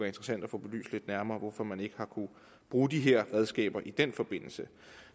interessant at få belyst lidt nærmere hvorfor man ikke har kunnet bruge de her redskaber i den forbindelse